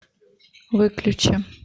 выключи